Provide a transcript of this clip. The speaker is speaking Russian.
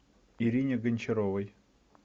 ирине гончаровой